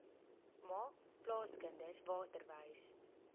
maak plaaskinders waterwys